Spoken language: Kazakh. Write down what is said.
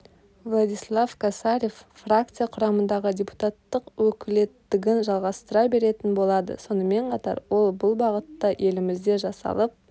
владислав косарев фракция құрамындағы депутаттық өкілеттігін жалғастыра беретін болады сонымен қатар ол бұл бағытта елімізде жасалып